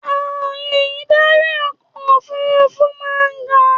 Ààyè ìdarí ọkọ̀ òfurufú máa ń ga.